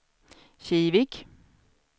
Kivik